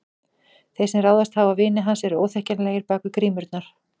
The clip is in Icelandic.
Þeir sem ráðist hafa á vini hans eru óþekkjanlegir bak við grímurnar.